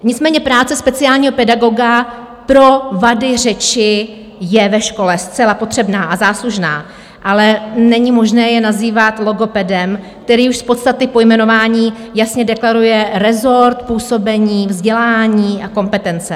Nicméně práce speciálního pedagoga pro vady řeči je ve škole zcela potřebná a záslužná, ale není možné je nazývat logopedem, který už z podstaty pojmenování jasně deklaruje rezort působení, vzdělání a kompetence.